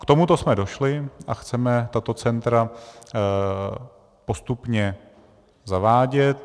K tomuto jsme došli a chceme tato centra postupně zavádět.